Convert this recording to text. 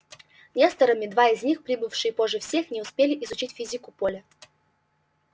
несторами два из них прибывшие позже всех не успели изучить физику поля